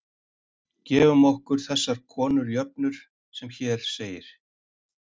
Gefum okkur þess konar jöfnur sem hér segir: